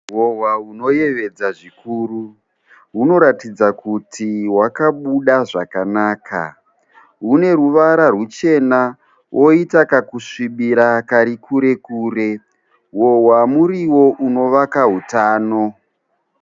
Hohwa hunoyevedza zvikuru hunoratidza kuti hwakabuda zvakanaka, hune ruvara ruchena woita kakusvibira kari kure kure hohwa muriwo unovaka hutano.